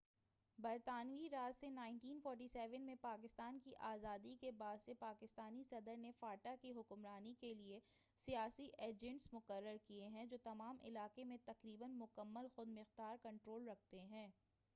برطانوی راج سے 1947ء میں پاکستان کی آزادی کے بعد سے پاکستانی صدر نے فاٹا کی حکمرانی کے لیے سیاسی ایجنٹس مقرر کیے ہیں جو تمام علاقے میں تقریباً مکمل خُودمُختار کنٹرول رکھتے ہیں